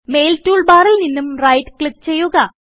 mail tool ബാറിൽ നിന്നും right click ചെയ്യുക